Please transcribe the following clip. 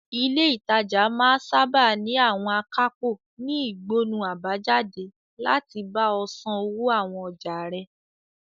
Ilé ìtajà máa sáábà ní àwọn akápò ní ìgbọnnu àbájáde láti bá ọ san owó àwọn ọjà rẹ.